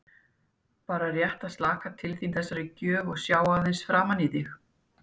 Bara rétt að slaka til þín þessari gjöf og sjá aðeins svona framan í þig.